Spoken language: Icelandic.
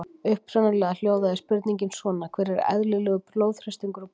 Upprunalega hljóðaði spurningin svona: Hver er eðlilegur blóðþrýstingur og púls?